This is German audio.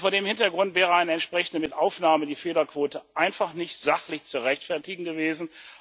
Vor dem Hintergrund wäre eine entsprechende Mitaufnahme in die Fehlerquote einfach nicht sachlich zu rechtfertigen gewesen.